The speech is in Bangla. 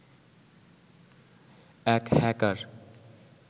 এক হ্যাকার